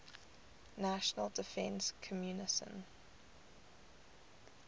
national defense commission